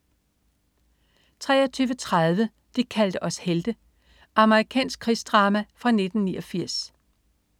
23.30 De kaldte os helte. Amerikansk krigsdrama fra 1989